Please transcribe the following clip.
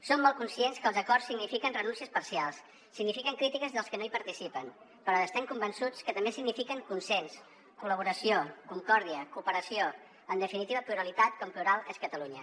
som molt conscients que els acords signifiquen renúncies parcials signifiquen crítiques dels que no hi participen però estem convençuts que també signifiquen consens col·laboració concòrdia cooperació en definitiva pluralitat com plural és catalunya